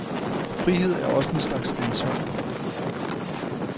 Frihed er også en slags ansvar.